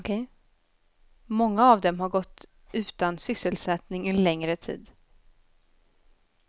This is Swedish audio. Många av dem har gått utan sysselsättning en längre tid.